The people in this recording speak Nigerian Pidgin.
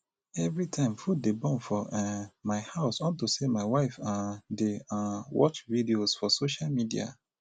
everytime food dey burn for um my house unto say my wife um dey um watch videos for social media